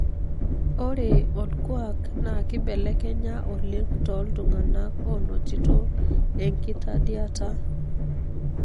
ore olkuak na kibelekenya oleng toltungana onotito enkitadiata.